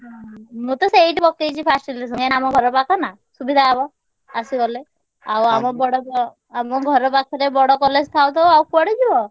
ହୁଁ ମୁଁ ତ ସେଇଠି ପକେଇଛି first selection କାହିଁକିନା ଆମ ଘର ପାଖ ନା ସୁବିଧା ହବ ଆସିଗଲେ। ଆଉ ଆମ ବଡ ଆମ ଘର ପାଖରେ ବଡ college ଥାଉ ଥାଉ ଆଉ କୁଆଡେ ଯିବ।